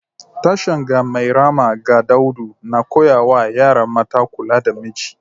Tashen 'Ga Mairama ga Daudu’ na koya wa yara mata kula da miji